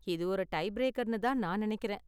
இது ஒரு டைபிரேக்கர் தான்னு நான் நினைக்கிறேன்.